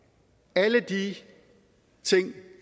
alle de ting